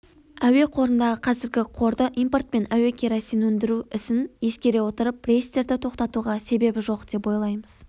әуеқорындағы қазіргі қорды импорт пен әуекеросин өндіру ісін ескере отырып рейстерді тоқтатуға себеп жоқ деп ойлаймыз